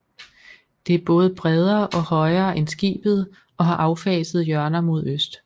Det er både bredere og højere end skibet og har affasede hjørner mod øst